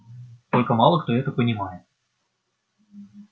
только мало кто это понимает